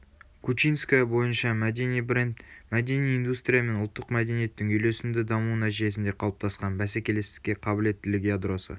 кучинская бойынша мәдени бренд мәдени индустрия мен ұлттық мәдениеттің үйлесімді дамуы нәтижесінде қалыптасқан бәсекелестікке қабілеттілік ядросы